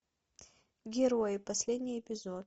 герои последний эпизод